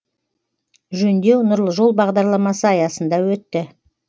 жөндеу нұрлы жол бағдарламасы аясында өтті